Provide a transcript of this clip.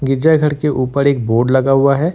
गिरजाघर के ऊपर एक बोर्ड लगा हुआ है।